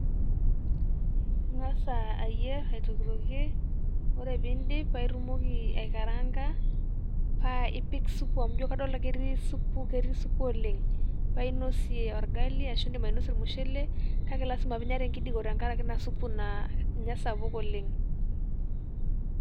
Eng'as ayierr aitokitilokie ore pee iidip, paa itumoki aikaranga paa ipik supuk amu kadolita ake etii supuk ketii supuk oleng', paa inosie orgali arashu idim ainosie ormushele kake lasima peinya tengijiko tengaraki Ina supuk naa ninye esapuk oleng'.